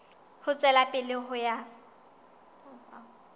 ho tswela pele ho ya